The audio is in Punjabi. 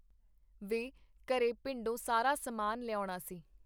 ਵੇਂ ਘਰੇ ਪਿੰਡੋਂ ਸਾਰਾ ਸਮਾਨ ਲਿਆਉਣਾ ਸੀ.